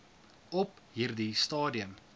op hierdie stadium